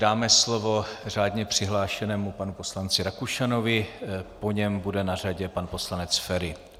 Dáme slovo řádně přihlášenému panu poslanci Rakušanovi, po něm bude na řadě pan poslanec Feri.